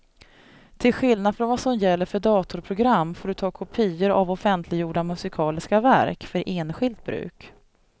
Till skillnad från vad som gäller för datorprogram får du ta kopior av offentliggjorda musikaliska verk för enskilt bruk.